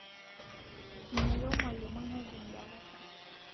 Meyieu mwalimoi nejink darasa